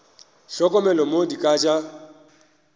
hlokomele mo di ka ja